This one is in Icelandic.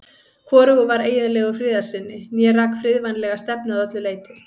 Hvorugur var eiginlegur friðarsinni né rak friðvænlega stefnu að öllu leyti.